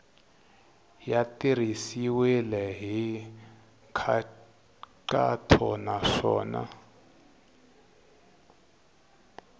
ya tirhisiwile hi nkhaqato naswona